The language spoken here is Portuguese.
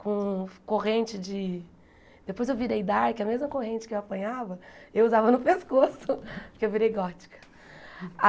Com corrente de... Depois eu virei dark, a mesma corrente que eu apanhava, eu usava no pescoço, porque eu virei gótica.